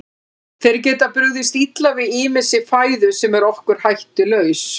Þeir geta brugðist illa við ýmissi fæðu sem er okkur hættulaus.